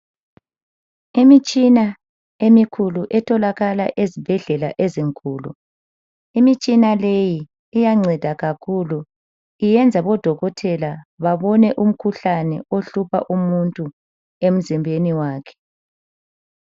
Imitshina emikhulu etholakala ezibhedlela ezinkulu. Imitshina leyi iyanceda kakhulu. Iyenza odokotela babone umkhuhlane ohlupha umuntu emzimbeni wakhe.